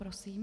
Prosím.